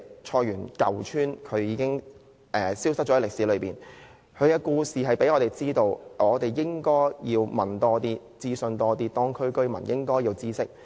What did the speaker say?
菜園舊村已成為歷史，它的故事讓我們知道有必要多問、多諮詢，而當區居民也應該知悉。